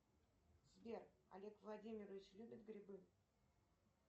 сбер олег владимирович любит грибы